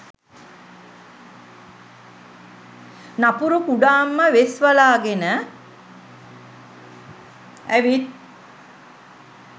නපුරු කුඩම්ම වෙස් වලාගෙන ඇවිත්